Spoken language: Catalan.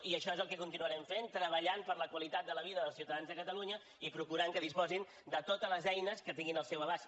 i això és el que continuarem fent treballant per la qualitat de la vida dels ciutadans de catalunya i procurant que disposin de totes les eines que tinguin al seu abast